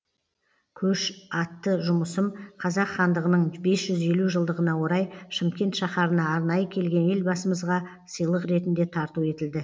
көш атты жұмысым қазақ хандығының бес жүз елу жылдығына орай шымкент шаһарына арнайы келген елбасымызға сыйлық ретінде тарту етілді